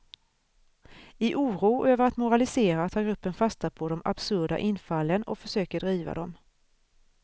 I oro över att moralisera tar gruppen fasta på de absurda infallen och försöker driva dem.